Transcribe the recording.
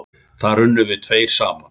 Þar unnum við tveir saman.